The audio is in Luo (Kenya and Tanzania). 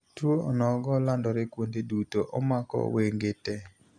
Tuo onogo landore kuonde duto (omako wenge tee.)